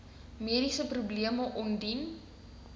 mediese probleme ondie